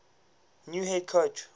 new head coach